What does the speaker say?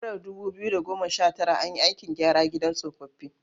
A shekarar 2019, an yi aikin gyara gidan tsofaffi.